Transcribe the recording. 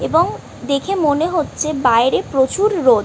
এবং দেখে মনে হচ্ছে বাইরেও প্রচুর রোদ ।